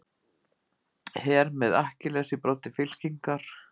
Her með Akkiles í broddi fylkingar.